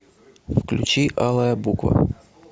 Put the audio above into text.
включи алая буква